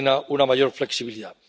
una mayor flexibilidad.